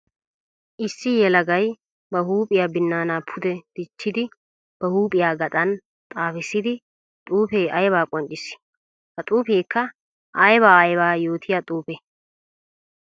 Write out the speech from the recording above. Issi yelagay ba huuphiya binana pude dichchiddi ba huuphiya gaxan xaafissiddi xuufe aybba qonccissi? Ha xuufekka aybba aybba yootiya xuufe?